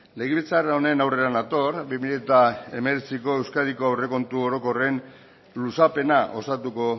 legebiltzar honen aurrera nator bi mila hemeretziko euskadiko aurrekontu orokorren luzapena osatuko